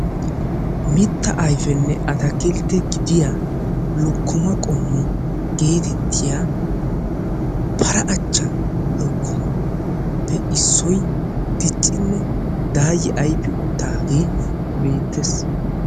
Mitta ayfenne atakiltte gidiyaa lokkoma qommo geettetiyaa para acha lokomaappe issoy diccinne dayi ayfi utaagee beetees.